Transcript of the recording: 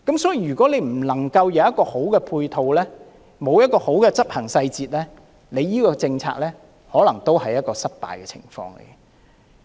所以，如果無法提供良好的配套，沒有一個好的執行細節，這個政策可能都會失敗。